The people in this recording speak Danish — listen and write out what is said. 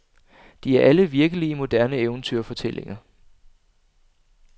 De er alle virkelige moderne eventyrfortællinger.